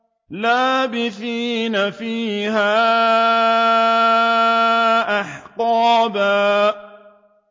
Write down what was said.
لَّابِثِينَ فِيهَا أَحْقَابًا